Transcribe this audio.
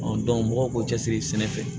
mɔgɔw k'u cɛsiri sɛnɛ fɛ